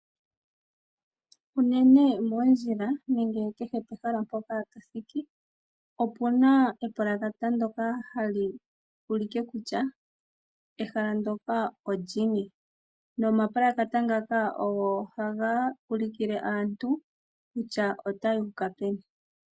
Unene moondjila nenge kehe pehala mpoka to thiki opu na epulakata ndyoka ha li ulike kutya ehala ndyoka olini nomapulakata ngaka ogo haga ulukile aantu kutya otaya uka peni.